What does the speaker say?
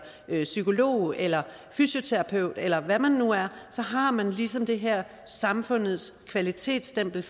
psykolog eller fysioterapeut eller hvad man nu er så har man ligesom det her samfundets kvalitetsstempel